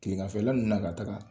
Kileganfɛlanu na ka taga